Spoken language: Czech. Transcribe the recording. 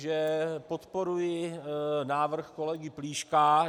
Že podporuji návrh kolegy Plíška.